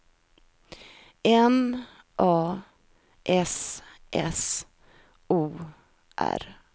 M A S S O R